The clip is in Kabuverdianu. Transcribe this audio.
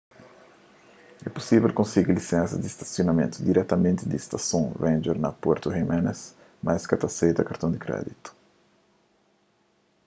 é pusível konsigi lisensas di stasionamentu diretamenti di stason ranger na puerto jiménez mas es ka ta aseita karton di kréditu